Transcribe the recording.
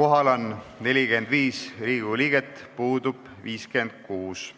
Kohal on 45 Riigikogu liiget, puudub 56.